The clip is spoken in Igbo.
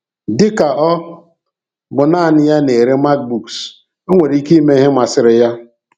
Dị ka ọ bụ naanị ya na-ere MacBooks, o nwere ike ime ihe masịrị ya.